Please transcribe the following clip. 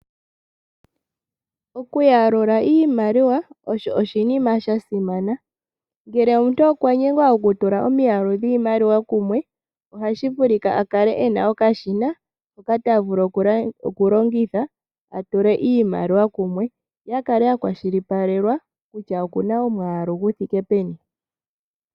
Okuyalula iimaliwa osho oshinima sha simana. Ngele omuntu okwa nyengwa okutula omiyalu dhiimaliwa kumwe oha vulu a kale e na okashina hoka ta vulu okulongitha a tule iimaliwa kumwe ye a kale a kwashilipalelwa kutya oku na omwaalu gu thike peni.